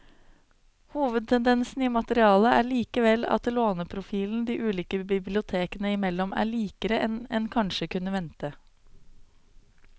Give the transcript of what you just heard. Hovedtendensen i materialet er likevel at låneprofilen de ulike bibliotekene imellom er likere enn en kanskje kunne vente.